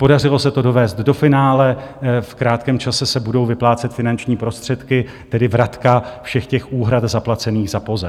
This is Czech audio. Podařilo se to dovést do finále, v krátkém čase se budou vyplácet finanční prostředky, tedy vratka všech těch úhrad zaplacených za POZE.